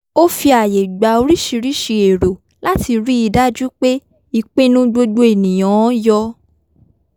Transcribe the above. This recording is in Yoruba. ó fi ààyè gba oríṣirísi èrò láti ríi dájú pé ìpinnu gbogbo ènìyàn-an yọ